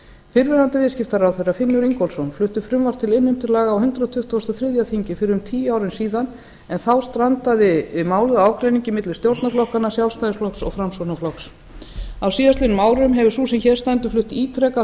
fyrrverandi viðskiptaráðherra finnur ingólfsson flutti frumvarp til innheimtulaga á hundrað tuttugasta og þriðja þingi fyrir um tíu árum síðan en þá strandaði málið á ágreiningi milli stjórnarflokkanna sjálfstæðisflokks og framsóknarflokks á síðastliðnum árum hefur sú sem hér stendur flutt ítrekað